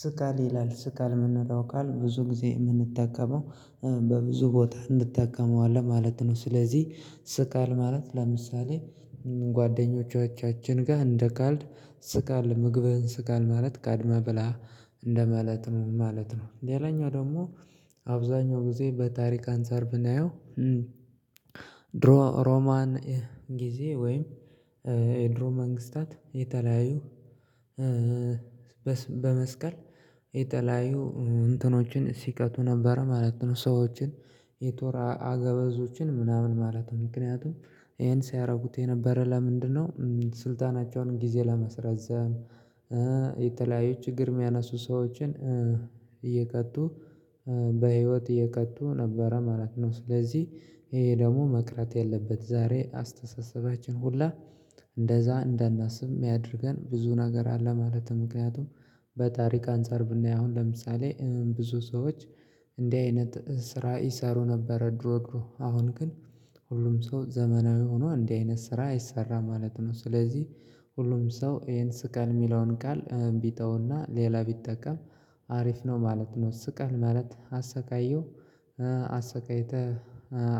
ስካል ይላል ስካል የምንለው ቃል ብዙ ጊዜ የምንጠቀመው በብዙ ቦታ እንድጠቀመዋለን ማለት ነው። ስለዚህ ስቃል ማለት ለምሳሌ ጓደኞቻችን ጋር እንደ ካልድ ስቃል ምግብህን ስቃል ማለት ቀድመህ ብላ እንደ ማለት ነው ማለት ነው። ሌላኛው ደግሞ አብዛኛው ጊዜ በታሪክ አንፃር ብናየው ሮማን ጊዜ ወይም የድሮ መንግስታት የተለያዩ በመስቀል የተለያዩ እንትኖችን ሲቀጡ ነበር ማለት ነው። ሰዎችን የቶራ አገበዞችን ምናምን ማለት ነው። ምክንያቱም ይሄን ሲያደርጉት የነበረ ለምንድነው ስልጣናቸውን ጊዜ ለመስረዘም የተለያየች ችግር ምያነሱ ሰዎችን እየቀጡ በህይወት እየቀጡ ነበረ ማለት ነው። ስለዚህ ይሄ ደግሞ መቅረት ያለበት ዛሬ አስተሳሰባችን ሁላ እንደዛ እንዳናስብ የሚያደርገን ብዙ ነገር አለ። ማለትም ምክንያቱም በታሪክ አንፃር ብናየው አሁን ለምሳሌ ብዙ ሰዎች እንዲህ አይነት ስራ ይሰሩ ነበር ድሮድሮ አሁን ግን ሁሉም ሰው ዘመናዊ ሆኖ እንዲህ አይነት ስራ አይሰራም ማለት ነው። ስለዚህ ሁሉም ሰው ይሄን ስቀል የሚለውን ቃል ቢተውና ሌላ ቢጠቀም አሪፍ ነው ማለት ነው። ስቀል ማለት አሰቃየው አሰቃይተህ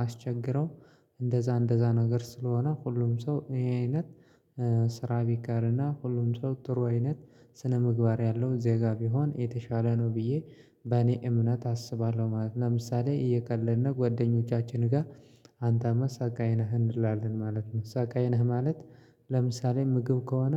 አስቸግረው እንደዛ እንደዛ ነገር ስለሆነ ሁሉም ሰው ይህ አይነት ስራ ቢቀርና ሁሉም ሰው ጥሩ አይነት ስነምግባር ያለው ዜጋ ቢሆን የተሻለ ነው ብዬ በእኔ እምነት አስባለሁ ማለት ነው። ለምሳሌ የቀለድን ጓደኞቻችን ጋር አንተ ሰቃይ ነህ እንላለን ማለት ነው ሰቃይ ነህ ማለት ለምሳሌ ምግብ ከሆነ